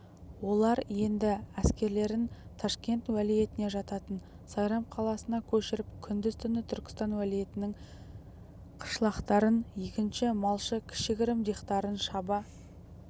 олар енді әскерлерін ташкент уәлиетіне жататын сайрам қаласына көшіріп күндіз-түні түркістан уәлиетінің қышлақтарын егінші малшы кіші-гірім дихтарын шаба